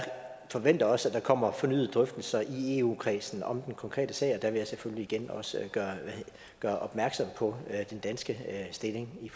forventer også at der kommer fornyede drøftelser i eu kredsen om den konkrete sag og der vil jeg selvfølgelig igen gøre opmærksom på den danske stilling i